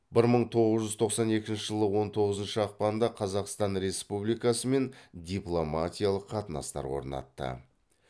бір мың тоғыз жүз тоқсан екінші жылы он тоғызыншы ақпанда қазақстан республикасымен дипломатиялық қатынастар орнатты